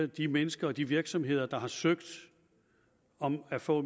de mennesker og de virksomheder der har søgt om at få